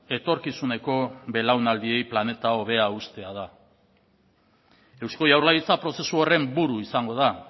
etorkizuneko belaunaldiei planeta hobea uztea da eusko jaurlaritza prozesu horren buru izango da